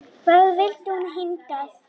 Hvað vildi hún hingað?